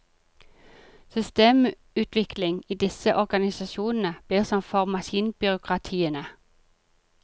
Systemutvikling i disse organisasjonene blir som for maskinbyråkratiene.